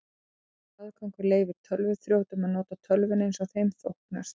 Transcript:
Slíkur aðgangur leyfir tölvuþrjótum að nota tölvuna eins þeim þóknast.